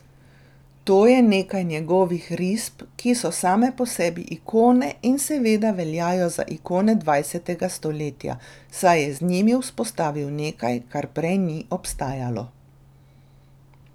To je nekaj njegovih risb, ki so same po sebi ikone in seveda veljajo za ikone dvajsetega stoletja, saj je z njimi vzpostavil nekaj, kar prej ni obstajalo.